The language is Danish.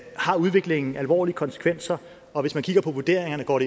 har udviklingen alvorlige konsekvenser og hvis man kigger på vurderingerne går